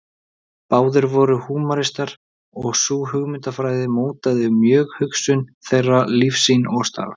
Báðir voru húmanistar og sú hugmyndafræði mótaði mjög hugsun þeirra, lífssýn og starf.